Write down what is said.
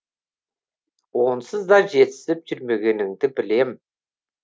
онсыз да жетісіп жүрмегеніңді білем